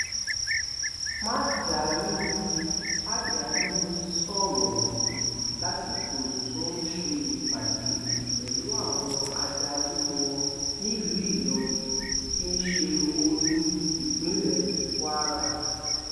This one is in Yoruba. mandarini mandarini sọrọ yìí lásìkò tó ń ṣe ìpàdé pẹlú àwọn adarí wọn nílùú ìlọrin tí í ṣe olú ìpínlẹ kwara